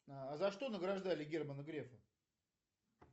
а за что награждали германа грефа